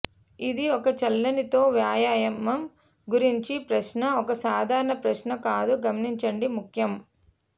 ఇది ఒక చల్లని తో వ్యాయామం గురించి ప్రశ్న ఒక సాధారణ ప్రశ్న కాదు గమనించండి ముఖ్యం